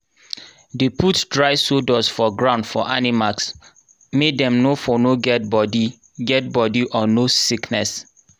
dey put dry sawdust for ground for animals make dem for no get body get body or nose sickness